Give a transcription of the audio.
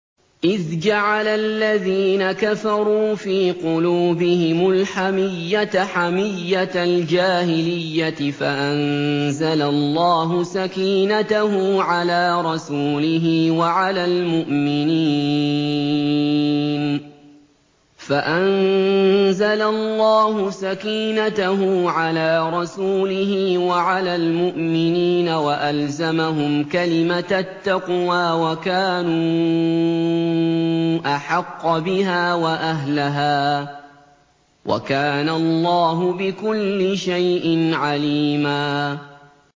إِذْ جَعَلَ الَّذِينَ كَفَرُوا فِي قُلُوبِهِمُ الْحَمِيَّةَ حَمِيَّةَ الْجَاهِلِيَّةِ فَأَنزَلَ اللَّهُ سَكِينَتَهُ عَلَىٰ رَسُولِهِ وَعَلَى الْمُؤْمِنِينَ وَأَلْزَمَهُمْ كَلِمَةَ التَّقْوَىٰ وَكَانُوا أَحَقَّ بِهَا وَأَهْلَهَا ۚ وَكَانَ اللَّهُ بِكُلِّ شَيْءٍ عَلِيمًا